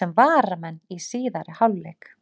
sem varamenn í síðari hálfleik.